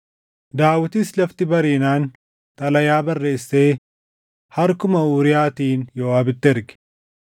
Daawitis lafti bariinaan xalayaa barreessee harkuma Uuriyaatiin Yooʼaabitti erge.